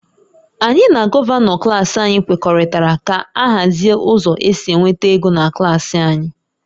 Anyị na Gọvanọ klas anyị kwekọrịtara ka a hazie ụzọ esi enweta ego na klas anyị